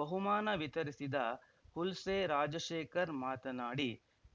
ಬಹುಮಾನ ವಿತರಿಸಿದ ಹುಲ್ಸೆ ರಾಜಶೇಖರ್‌ ಮಾತನಾಡಿ